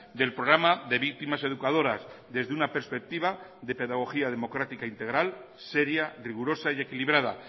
del programa de víctimas educadoras desde una perspectiva de pedagogía democrática integral seria rigurosa y equilibrada